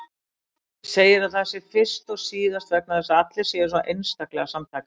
Segir að það sé fyrst og síðast vegna þess að allir séu svo einstaklega samtaka.